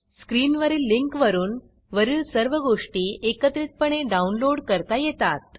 स्क्रीनवरील लिंकवरून वरील सर्व गोष्टी एकत्रितपणे डाऊनलोड करता येतात